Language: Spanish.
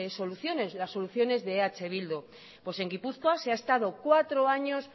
soluciones las soluciones de eh bildu pues en gipuzkoa se ha estado cuatro años